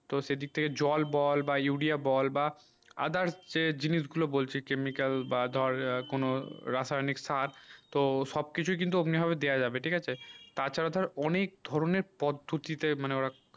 তো সে দিক থেকে জল বল বা উড়িয়া বল বা other জিনিস গুলু বলছি chemical বা ধর কোনো রাসায়নিক খাদ তো সব কিছু কিন্তু অমনি ভাবে দিয়া যাবে ঠিক আছে তা ছাড়া ধর অনেক ধরণে পদ্ধতি তে মানে ওরা